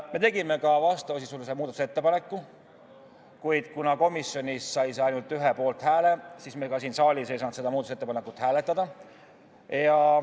Me tegime ka vastavasisulise muudatusettepaneku, kuid kuna komisjonis sai see ainult ühe poolthääle, siis me ka siin saalis ei saanud seda muudatusettepanekut hääletada.